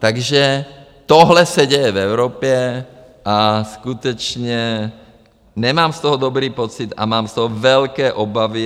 Takže tohle se děje v Evropě a skutečně nemám z toho dobrý pocit a mám z toho velké obavy.